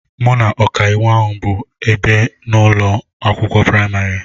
Mụ na ọkàiwu ahụ bụ ìbè n'ụlọ akwụkwọ praịmarị